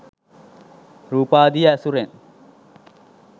රූපාදිය ඇසුරෙන්